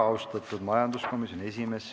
Kuna kõnesoovijaid ei ole, siis sulgen läbirääkimised.